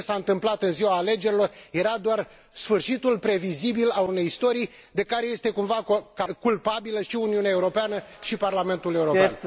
Ce s a întâmplat în ziua alegerilor era doar sfârșitul previzibil al unei istorii de care este cumva culpabilă și Uniunea Europeană, și Parlamentul European.